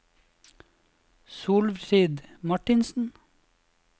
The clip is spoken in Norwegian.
Solfrid Martinsen